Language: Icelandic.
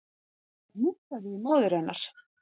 Það hnussaði í móður hennar